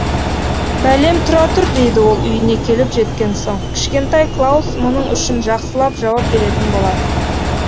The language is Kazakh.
бәлем тұра тұр дейді ол үйіне келіп жеткен соң кішкентай клаус мұның үшін жақсылап жауап беретін боласың